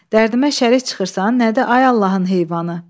Dərdimə şərik çıxırsan, nə də, ay Allahın heyvanı?